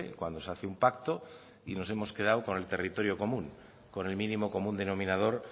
cuando se hace un pacto y nos hemos quedado con el territorio común con el mínimo común denominador